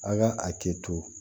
A ka a kɛ to